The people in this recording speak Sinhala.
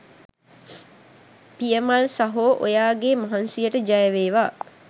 පියමල් සහෝ ඔයාගේ මහන්සියට ජයවේවා